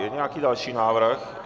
Je nějaký další návrh?